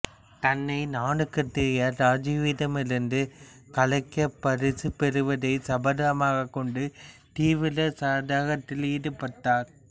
தன்னை நாடுகடத்திய ராஜாவிடமிருந்து கலைக்காகப் பரிசு பெறுவதை சபதமாகக்கொண்டு தீவிர சாதகத்தில் ஈடுபட்டார்